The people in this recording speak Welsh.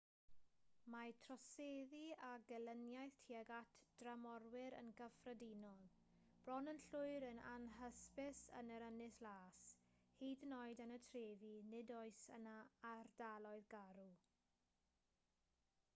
mae troseddu a gelyniaeth tuag at dramorwyr yn gyffredinol bron yn llwyr yn anhysbys yn yr ynys las hyd yn oed yn y trefi nid oes yna ardaloedd garw